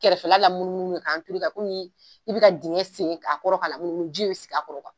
Kɛrɛfɛla lamunumunu ka , k'a komi, i bi ka dingɛ segin a kɔrɔ ka lamunumunu ji bi sig'a kɔrɔ